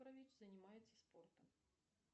занимается спортом